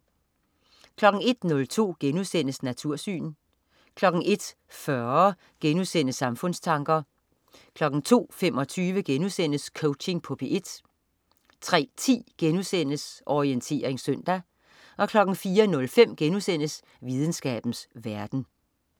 01.02 Natursyn* 01.40 Samfundstanker* 02.25 Coaching på P1* 03.10 Orientering søndag* 04.05 Videnskabens verden*